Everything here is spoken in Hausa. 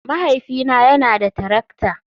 Mahaifina yana da tarakta.